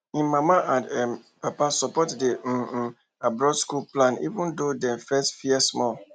him mama and um papa support di um um abroad school plan even though dem first fear small